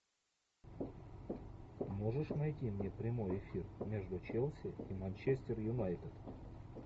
можешь найти мне прямой эфир между челси и манчестер юнайтед